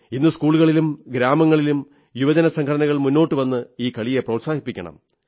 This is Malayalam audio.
ഇന്ന് സ്കൂളുകളിലും ഗ്രാമങ്ങളിലും യുവജനസംഘങ്ങൾ മുന്നോട്ടുവന്ന് ഈ കളിയെ പ്രോത്സാഹിപ്പിക്കണം